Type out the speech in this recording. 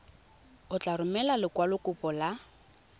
o tla romela lekwalokopo la